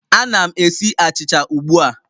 Ana m esi achịcha ugbu a